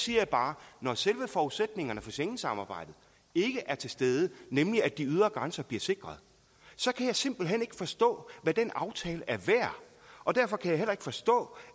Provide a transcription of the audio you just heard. jeg bare at når selve forudsætningerne for schengensamarbejdet ikke er til stede nemlig at de ydre grænser bliver sikret så kan jeg simpelt hen ikke forstå hvad den aftale er værd og derfor kan jeg heller ikke forstå